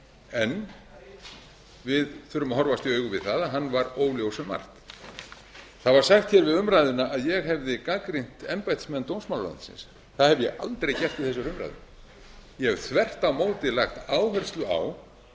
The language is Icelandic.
en við þurfum að horfast í augu við það að hann var óljós um margt það var sagt hér við umræðuna að ég hefði gagnrýnt embættismenn dómsmálaráðuneytisins það hef ég aldrei gert við þessa umræðu ég hef þvert á móti lagt áherslu á